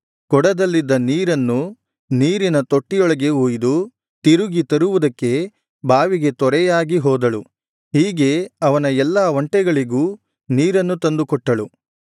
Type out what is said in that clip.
ಕೊಡದಲ್ಲಿದ್ದ ನೀರನ್ನು ನೀರಿನ ತೊಟ್ಟಿಯೊಳಗೆ ಹೊಯ್ಯಿದು ತಿರುಗಿ ತರುವುದಕ್ಕೆ ಬಾವಿಗೆ ತ್ವರೆಯಾಗಿ ಹೋದಳು ಹೀಗೆ ಅವನ ಎಲ್ಲಾ ಒಂಟೆಗಳಿಗೂ ನೀರನ್ನು ತಂದು ಕೊಟ್ಟಳು